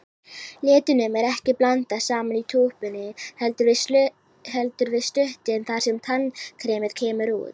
Litunum er ekki blandað saman í túpunni, heldur við stútinn þar sem tannkremið kemur út.